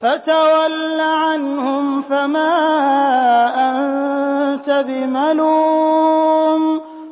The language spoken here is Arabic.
فَتَوَلَّ عَنْهُمْ فَمَا أَنتَ بِمَلُومٍ